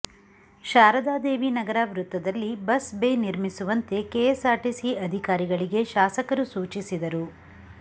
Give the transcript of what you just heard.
ಶಾರದಾದೇವಿನಗರ ವೃತ್ತದಲ್ಲಿ bus bay ನಿರ್ಮಿಸುವಂತೆ KSRTC ಅಧಿಕಾರಿಗಳಿಗೆ ಶಾಸಕರು ಸೂಚಿಸಿದರು